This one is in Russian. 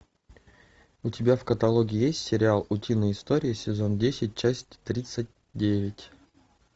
у тебя в каталоге есть сериал утиные истории сезон десять часть тридцать девять